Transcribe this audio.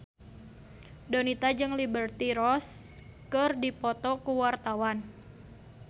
Donita jeung Liberty Ross keur dipoto ku wartawan